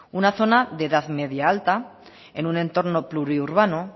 una zona de edad media alta en un entorno pluriurbano